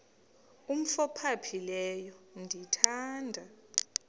umf ophaphileyo ndithanda